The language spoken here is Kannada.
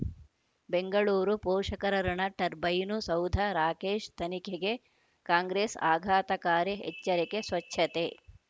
ಬೆಂಗಳೂರು ಪೋಷಕರಋಣ ಟರ್ಬೈನು ಸೌಧ ರಾಕೇಶ್ ತನಿಖೆಗೆ ಕಾಂಗ್ರೆಸ್ ಆಘಾತಕಾರಿ ಎಚ್ಚರಿಕೆ ಸ್ವಚ್ಛತೆ